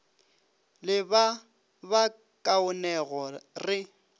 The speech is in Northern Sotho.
le ba ba kaonego re